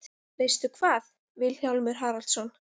Veistu hvað, Vilhjálmur Haraldsson?